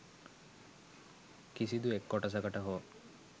කිසිදු එක් කොටසකට හෝ